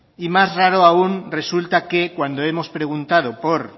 y más raro aun resulta que cuando hemos preguntado por